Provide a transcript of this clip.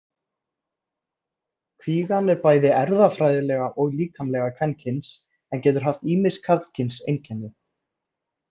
Kvígan er bæði erfðafræðilega og líkamlega kvenkyns en getur haft ýmis karlkyns einkenni.